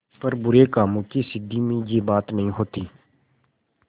पर बुरे कामों की सिद्धि में यह बात नहीं होती